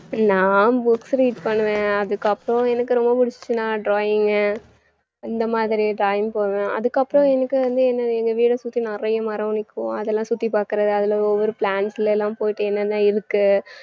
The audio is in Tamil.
நான் books read பண்ணுவேன் அதுக்கு அப்புறம் எனக்கு ரொம்ப புடுச்சுருச்சுனா drawing உ இந்த மாதிரி drawing போவேன் அதுக்கு அப்புறம் எனக்கு வந்து என்னது எங்க வீட்டை சுத்தி நிறைய மரம் நிக்கும் அதெல்லாம் சுத்தி பாக்கறது அதுல ஒவ்வொரு ஒரு plant ல எல்லாம் போயிட்டு என்னன்ன இருக்கு